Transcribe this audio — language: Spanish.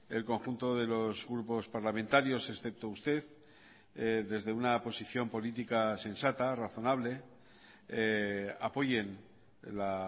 el conjunto de los grupos parlamentarios excepto usted desde una posición política sensata razonable apoyen la